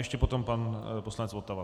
Ještě potom pan poslanec Votava.